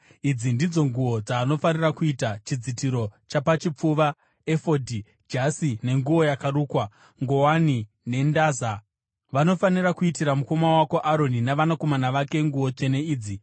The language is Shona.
Idzi ndidzo nguo dzavanofanira kuita: chidzitiro chapachipfuva, efodhi, jasi, nenguo yakarukwa, nguwani nendaza. Vanofanira kuitira mukoma wako Aroni navanakomana vake, nguo tsvene idzi.